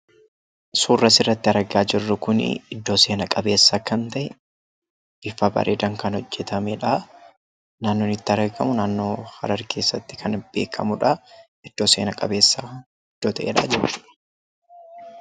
Suuraa kanaa gadii irratti kan argamu kun iddoo seena qabeessa kan ta'ee fi bifa bareeedaan kan hojjetamee dha. Naannoo inni itti argamus Harar keessatti iddoo seena qabeessa dha.